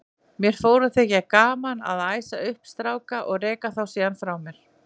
Mér fór að þykja gaman að æsa upp stráka og reka þá síðan frá mér.